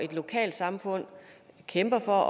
et lokalsamfund kæmper for